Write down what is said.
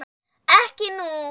Ekki nú.